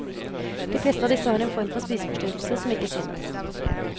De fleste av disse har en form for spiseforstyrrelse som ikke synes.